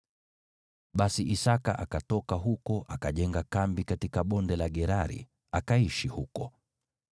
Basi Isaki akatoka huko akajenga kambi katika Bonde la Gerari, akaishi huko.